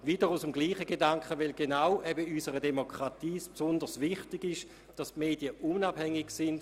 Dies wiederum aus demselben Gedanken heraus, denn genau in unserer Demokratie ist es eben besonders wichtig, dass die Medien unabhängig sind.